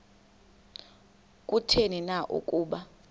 kutheni na ukuba